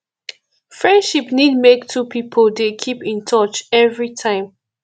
friendship need make two pipo dey keep in touch every time